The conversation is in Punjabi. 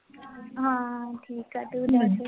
ਹਾਂ ਠੀਕ ਹੈ, ਤੂੰ ਦੱਸ?